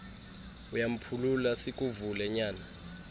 uyamphulula sikuvile nyana